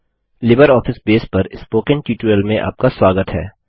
LibreOffice base पर spoken tutorial में आपका स्वागत है